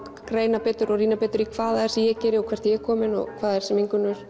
greina betur og rýna betur í hvað það er sem ég geri og hvert ég er komin og hvað það er sem Ingunn